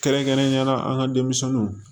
Kɛrɛnkɛrɛnnenyala an ka denmisɛnninw